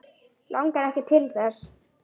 Langar ekki til þess.